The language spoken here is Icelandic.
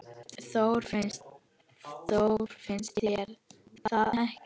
Þór, finnst þér það ekki?